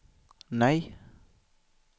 nej